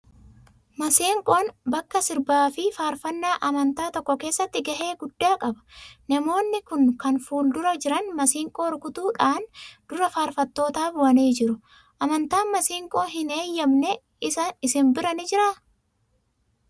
Maseenqoon bakka sirbaa fi faarfannaa amantaa tokko keessatti gahee guddaa qaba. Namoonni kun kan fuuldura jiran maseenqoo rukutuu dhaan dura faarfattootaa bu'anii jiru. Amantaan maseenqoo hin eeyyamne isin bira ni jiraa?